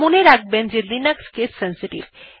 মনে রাখবেন যে লিনাক্স কেস সেনসিটিভ